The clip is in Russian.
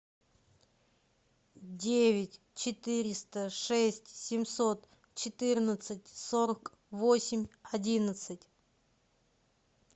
девять четыреста шесть семьсот четырнадцать сорок восемь одиннадцать